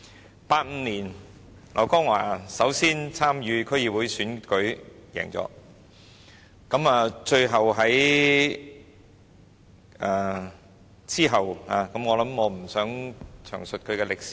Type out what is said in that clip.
劉江華首先在1985年參與區議會選舉獲勝，最後在......我不想詳述他的履歷。